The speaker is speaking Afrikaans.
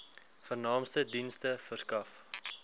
vernaamste dienste verskaf